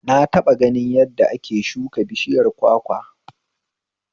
Na taɓa ganin yadda ake shuka bishiyar kwakwa